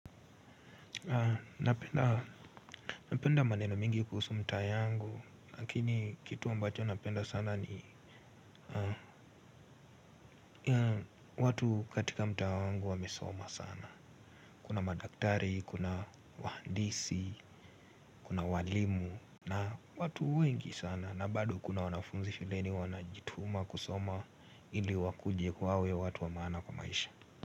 Napenda maneno mingi kuhusu mta yangu. Lakini kitu ambacho napenda sana ni watu katika mta wangu wamesoma sana. Kuna madaktari, kuna wahandisi, kuna walimu. Na watu wengi sana na bado kuna wanafunzi shuleni wanajituma kusoma. Ili wakuje wawe watu wa maana kwa maisha.